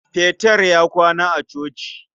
Peter ya kwana a coci.